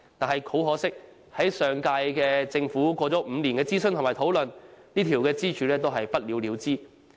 很可惜，上屆政府經過5年諮詢和討論，這根支柱仍是不了了之。